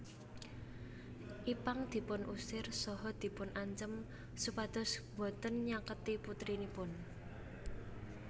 Ipank dipun usir saha dipun ancem supados boten nyaketi putrinipun